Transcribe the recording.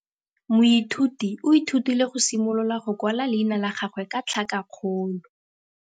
Moithuti o ithutile go simolola go kwala leina la gagwe ka tlhakakgolo.